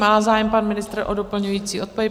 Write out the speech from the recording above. Má zájem pan ministr o doplňující odpověď?